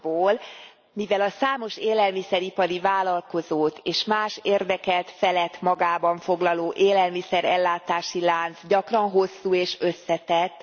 pontból mivel a számos élelmiszer ipari vállalkozót és más érdekelt felet magában foglaló élelmiszer ellátási lánc gyakran hosszú és összetett